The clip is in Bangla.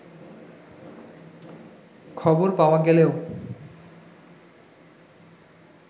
খবর পাওয়া গেলেও